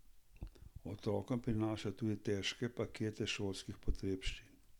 Otrokom prinašajo tudi težke pakete šolskih potrebščin.